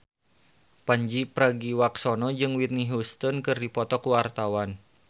Pandji Pragiwaksono jeung Whitney Houston keur dipoto ku wartawan